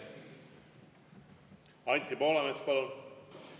Anti Poolamets, palun!